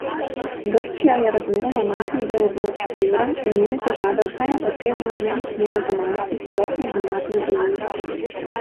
Grčija je razmeroma majhen del območja evra in njene težave vsaj na papirju ne bi smele zamajati celotne denarne unije.